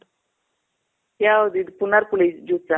ಯಾವ್ದು ಇದು ಪುನರ್ ಪಳಿ juice ಆ?